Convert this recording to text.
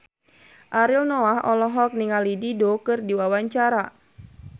Ariel Noah olohok ningali Dido keur diwawancara